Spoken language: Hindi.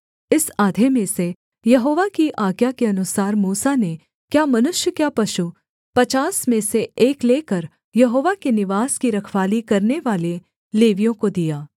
इस आधे में से यहोवा की आज्ञा के अनुसार मूसा ने क्या मनुष्य क्या पशु पचास में से एक लेकर यहोवा के निवास की रखवाली करनेवाले लेवियों को दिया